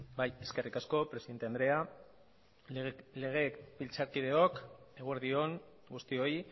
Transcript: bai eskerrik asko presidente andrea legebiltzarkideok eguerdi on guztioi